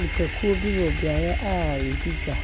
Nnipakuo bi wɔ beaeɛ a yɛdi dwa,